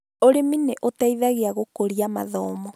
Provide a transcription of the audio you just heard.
Ũrĩmi nĩ ũteithagia gũkũria mathomo